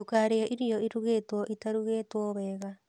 Ndũkarĩe irio ĩrugitwo itarugĩtwo wega